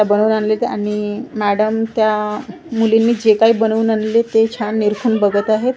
बनवून आणलेत आणि मॅडम त्या मुलींनी जे काही बनवून आणलेले ते छान निरखून बघत आहेत.